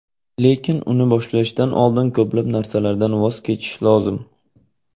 Lekin uni boshlashdan oldin ko‘plab narsalardan voz kechish lozim.